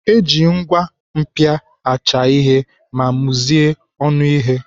Eji ngwa mpia acha ihe ma muzie ọnụ ihe.